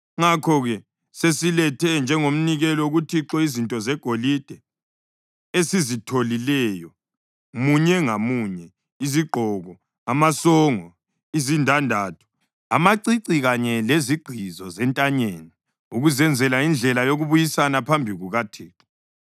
Ngakho sesilethe njengomnikelo kuThixo izinto zegolide esizitholileyo munye ngamunye, izigqizo, amasongo, izindandatho, amacici kanye lezigqizo zentanyeni, ukuzenzela indlela yokubuyisana phambi kukaThixo.”